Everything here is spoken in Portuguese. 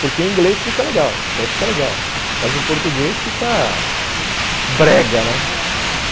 Porque em inglês fica legal, até fica legal, aham, mas em português, aham, fica brega, né?